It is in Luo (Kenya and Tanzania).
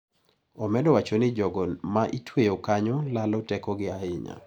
Omedo wacho ni jogo ma itweyo kanyo lalo tekogi ahinya.